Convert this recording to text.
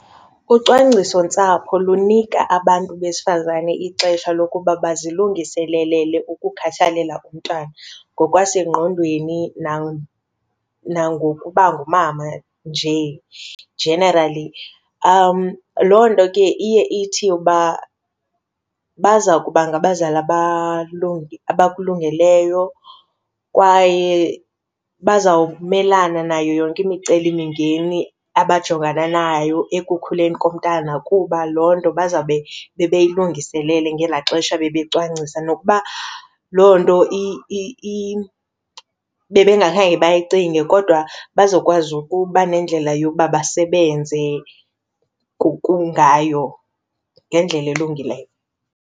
Ucwangcisontsapho lunika abantu besifazane ixesha lokuba bazilungiselele ukukhathalela umntwana ngokwasengqondweni nangokuba ngumama nje, generally. Loo nto ke iye ithi uba baza kuba ngabazali abakulungeleyo kwaye bazawumelana nayo yonke imicelimingeni abajongana nayo ekukhuleni komntana kuba loo nto bazawube bebeyilungiselele ngelaa xesha becwangcisa. Nokuba loo nto bebengakhange bayicinge kodwa bazokwazi ukuba nendlela yokuba basebenze ngayo ngendlela elungileyo.